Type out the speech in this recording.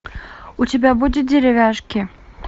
у тебя будет деревяшки